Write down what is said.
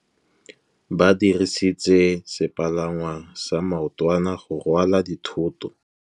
Ba dirisitse sepalangwasa maotwana go rwala dithôtô.